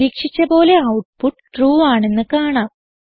പ്രതീക്ഷിച്ച പോലെ output true ആണെന്ന് കാണാം